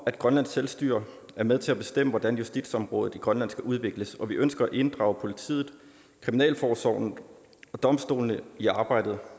at grønlands selvstyre er med til at bestemme hvordan justitsområdet i grønland skal udvikles og vi ønsker at inddrage politiet kriminalforsorgen og domstolene i arbejdet